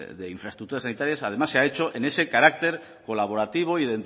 de infraestructuras sanitarias además se ha hecho en ese carácter colaborativo y